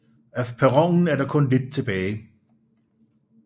Af perronen er der kun lidt tilbage